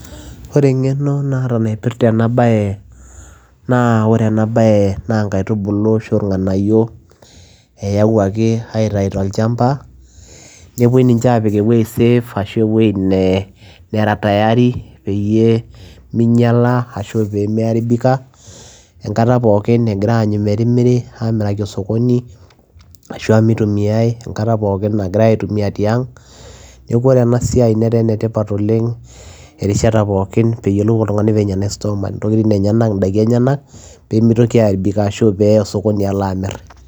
Ore engeno naata naipirta ena baye naa oree ena naa nkaitubuluu itayioki tolchamba nipiki eweujii sidai safe peyiee minyala ituu eyai osokonii ashua ituu enyai tiang neekuu etaa enetipat oleng enkataa pookin nagirae ai store mali peyiee eyai osokoni